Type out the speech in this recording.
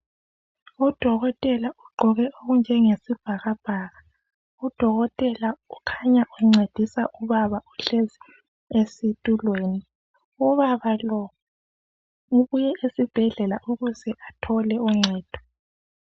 Udokotela ugqoke okunjenge sibhakabhaka, udokotela ukhanya uncedisa ubaba ohlezi esitulweni. Ubaba lo ubuye esibhedlela ukuze athole uncedo.